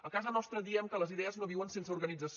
a casa nostra diem que les idees no viuen sense organització